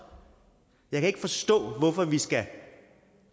jeg kan ikke forstå hvorfor vi skal